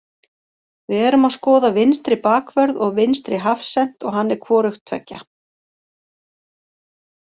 Við erum að skoða vinstri bakvörð og vinstri hafsent og hann er hvorugt tveggja.